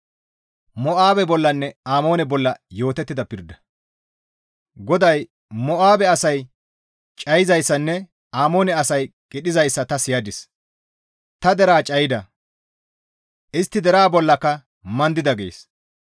GODAY, «Mo7aabe asay cayizayssanne Amoone asay qidhizayssa ta siyadis. Ta deraa cayida; istti ta deraa bollaka mandida» gees.